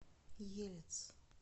елец